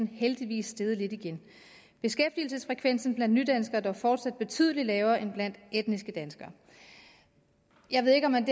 heldigvis steget lidt igen beskæftigelsesfrekvensen blandt nydanskere er dog fortsat betydelig lavere end blandt etniske danskere jeg ved ikke om man